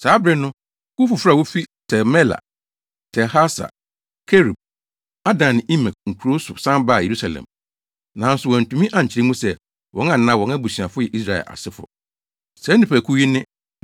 Saa bere no, kuw foforo a wofi Tel-Melah, Tel-Harsa, Kerub, Adan ne Imer nkurow so san baa Yerusalem. Nanso wɔantumi ankyerɛ mu sɛ, wɔn anaa wɔn abusuafo yɛ Israel asefo. Saa nnipakuw yi ne: 1